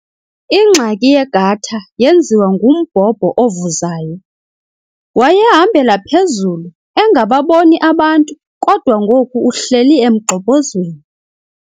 Ingxaki yegatha yenziwa ngumbhobho ovuzayo. wayehambela phezulu engababoni abantu kodwa ngoku uhleli emgxobhozweni